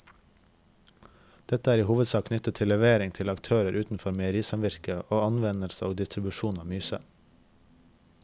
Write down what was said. Dette er i hovedsak knyttet til levering til aktører utenfor meierisamvirket og anvendelse og distribusjon av myse.